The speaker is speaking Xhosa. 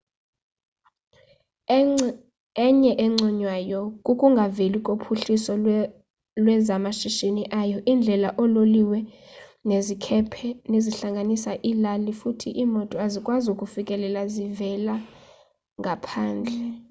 enye enconywayo kukungaveli kophuhliso lwezamashishini ayo iindlela oololiweo nezikhephe zihlanganisa iilali futhi iimoto azikwazi ukufikelela zivela ngaphandle